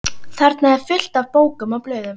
Þarna er allt fullt af bókum og blöðum.